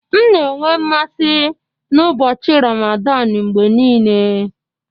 M na-enwe mmasị n'ụbọchị Ramadan mgbe niile